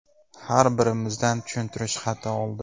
Har birimizdan tushuntirish xati oldi.